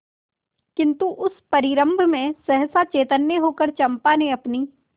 किंतु उस परिरंभ में सहसा चैतन्य होकर चंपा ने अपनी